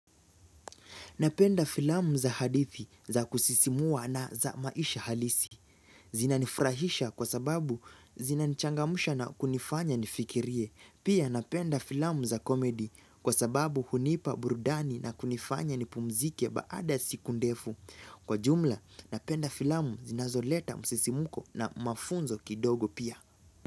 Napenda filamu za hadithi za kusisimua na za maisha halisi. Zinanifurahisha kwa sababu zina nichangamsha na kunifanya nifikirie. Pia napenda filamu za komedi kwa sababu hunipa burudani na kunifanya nipumzike baada siku ndefu. Kwa jumla, napenda filamu zinazoleta msisimko na mafunzo kidogo pia.